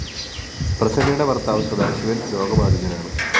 പ്രസന്നയുടെ ഭര്‍ത്താവ് സദാശിവന്‍ രോഗബാധിതനാണ്